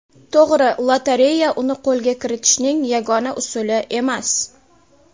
To‘g‘ri, lotereya uni qo‘lga kiritishning yagona usuli emas.